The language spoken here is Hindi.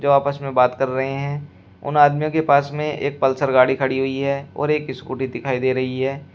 जो आपस में बात कर रहे हैं उन आदमियों के पास में एक पल्सर गाड़ी खड़ी हुई है और एक स्कूटी दिखाई दे रही है।